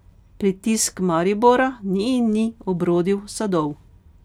Pritisk Maribora ni in ni obrodil sadov.